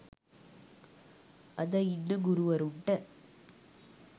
අද ඉන්න ගුරුවරුන්ට